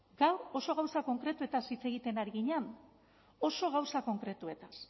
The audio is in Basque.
gaur oso gauza konkretuez hitz egiten ari ginen oso gauza konkretuez